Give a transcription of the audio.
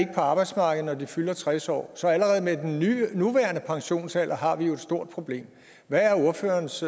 arbejdsmarkedet når de fylder tres år så allerede med den nuværende pensionsalder har vi et stort problem hvad er ordførerens